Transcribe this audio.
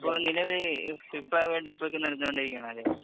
ഇപ്പൊ നിലവില്‍ FIFA world cup നടന്നു കൊണ്ടിരിക്കുകയാണല്ലേ.